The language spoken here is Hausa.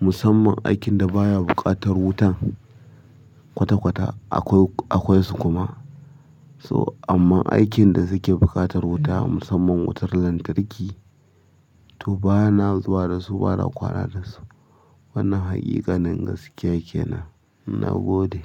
Musamman aikin da baya buƙatar wutan kwata-kwata akwai, akwai su kuma. So, amman aikin da suke buƙatar wuta musamman wutar lantarki, toh bana zuwa da su bana kwana da su. Wannan haƙiƙanin gaskiya kenan, nagode.